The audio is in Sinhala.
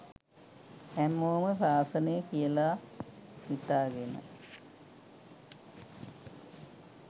හැමෝම ශාසනය කියලා හිතාගෙන